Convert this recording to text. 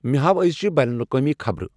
مے ہاو أزچِہ بین لاقوٲمی خبرٕ ۔